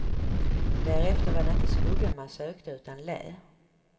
Därefter var det inte skugga man sökte utan lä.